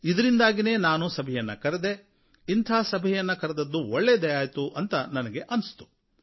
ಇದರಿಂದಾಗಿಯೇ ನಾನು ಸಭೆಯನ್ನು ಕರೆದೆ ಇಂಥ ಸಭೆಯನ್ನು ಕರೆದದ್ದು ಒಳ್ಳೆಯದೆ ಆಯಿತು ಅಂತ ನನಗನ್ನಿಸಿತು